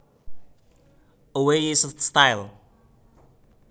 A way is a style